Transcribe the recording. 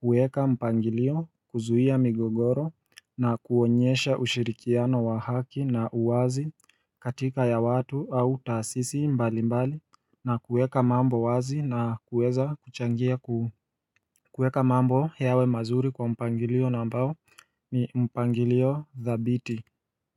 huweka mpangilio kuzuia migogoro na kuonyesha ushirikiano wa haki na uwazi katika ya watu au taasisi mbali mbali na kueka mambo wazi na kuweza kuchangia kuu kuweka mambo yawe mazuri kwa mpangilio nambao ni mpangilio thabiti.